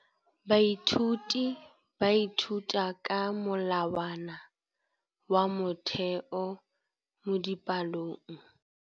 Baithuti ba ithuta ka molawana wa motheo mo dipalong.